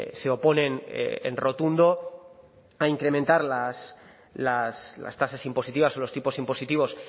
se oponen en rotundo a incrementar las tasas impositivas o los tipos impositivos